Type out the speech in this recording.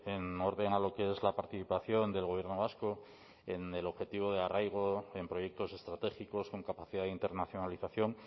en orden a lo que es la participación del gobierno vasco en el objetivo de arraigo en proyectos estratégicos con capacidad de internacionalización